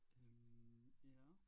Jamen ja